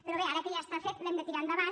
però bé ara que ja està fet l’hem de tirar endavant